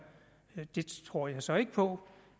det tror jeg så ikke på